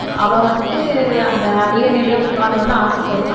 அவ வந்துட்டு அந்த அரியணையில உட்காரணும் ஆசைப்படுவா